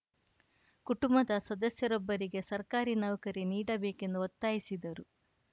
ಕುಟುಂಬದ ಸದಸ್ಯರೊಬ್ಬರಿಗೆ ಸರ್ಕಾರಿ ನೌಕರಿ ನೀಡಬೇಕೆಂದು ಒತ್ತಾಯಿಸಿದರು